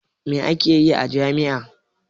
Me ake yi a jami'a?